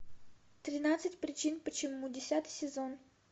тринадцать причин почему десятый сезон